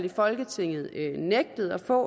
i folketinget nægtet at få